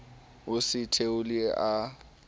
o se a theohile a